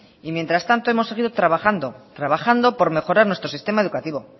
mientras tanto hemos seguido trabajando por mejorar nuestro sistema educativo